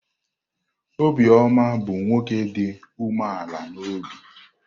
Obioma bụ nwoke dị umeala n'obi.